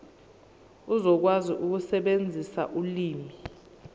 uzokwazi ukusebenzisa ulimi